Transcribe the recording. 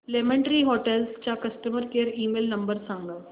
lemon tree hotels चा customer care email number सांगा